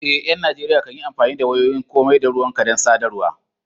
Eh, ƴan Najeriya kan yi amfani da wayoyin komai da ruwanka don sadarwa.